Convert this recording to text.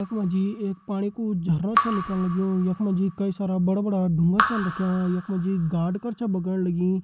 यखम जी एक पानी को झरना च निकल लग्युं यखमा जी कई सारा बड़ा-बड़ा ढूँगा छन रखियाँ यखमा जी गाड़ क्र च बगड़ लगीं।